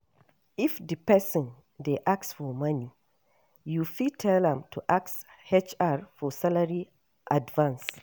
If di person dey ask for money you fit tell am to ask HR for salary advance